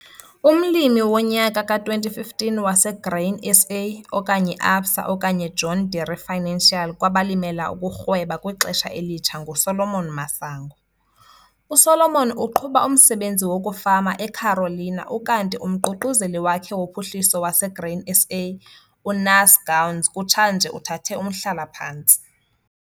UMlimi woNyaka ka-2015 waseGrain SA okanye ABSA okanye John Deere Financial kwabaLimela ukuRhweba kwiXesha eLitsha nguSolomon Masango. USolomon uqhuba umsebenzi wokufama eCarolina ukanti uMququzeleli wakhe woPhuhliso waseGrain SA uNaas Gouws kutshanje uthathe umhlalaphantsi.